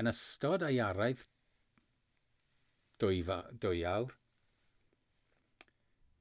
yn ystod ei araith 2 awr